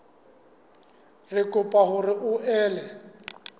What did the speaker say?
re kopa hore o ele